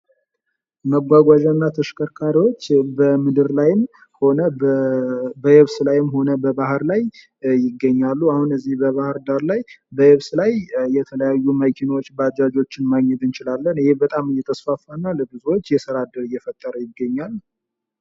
መጓጓዣና ተሽከርካሪዎች በምድር ላይ ሆነ በየብስ ላይም ሆነ በባህር ላይ ይገኛሉ አሁን በባህር ዳር ላይ በየብስ ላይ የተለያዩ መኪኖች ባጃጆችን ማየት እንችላለን ይህ በጣም የተስፋፋና ለብዙዎች የስራ እድል እየፈጠረ ይገኛል።